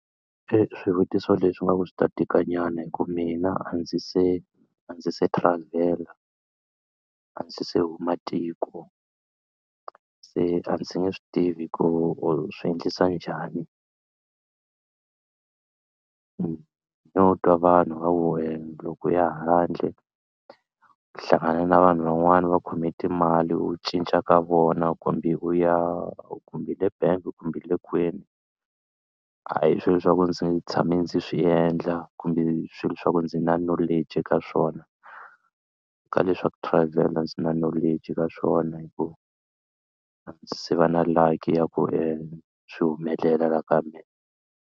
Swivutiso leswi ingaku swi ta tikanyana hi ku mina a ndzi se a ndzi se travel-a a ndzi se huma tiko se a ndzi nge swi tivi ku u swi endlisa njhani no twa vanhu va ku loko u ya handle u hlangana na vanhu van'wana va khome timali u cinca ka vona kumbe u ya kumbe hi le bangi kumbe hi le kwini a hi swilo leswaku ndzi tshame ndzi swi endla kumbe swilo swa ku ndzi na knowledge ka swona ka le swa ku travel-a ndzi na knowledge ka swona hi ku a ndzi se va na luck ya ku swi humelela la ka mina.